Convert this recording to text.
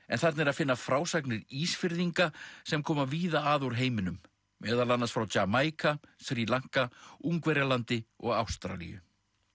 en þarna er að finna frásagnir Ísfirðinga sem koma víða að úr heiminum meðal annars frá Jamaíka Sri Lanka Ungverjalandi og Ástralíu